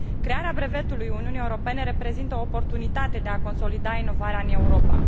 Crearea brevetului Uniunii Europene reprezintă o oportunitate de a consolida inovarea în Europa.